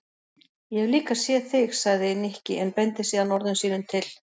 Ég hef líka séð þig sagði Nikki en beindi síðan orðum sínum til